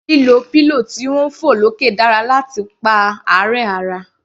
Lílo pillow tí ń fọ̀ lókè dára láti pa àárẹ̀ ara.